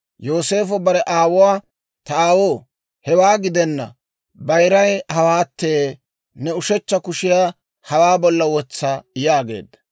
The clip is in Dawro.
Yooseefo bare aawuwaa, «Ta aawoo, hewaa gidenna; bayiray hawaatte; ne ushechcha kushiyaa hawaa bolla wotsa» yaageedda.